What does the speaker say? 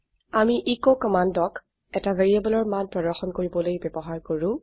আমি এচ কমান্ডক এটা variableৰ মান প্ৰৰ্দশন কৰিবলৈ ব্যবহাৰ কৰো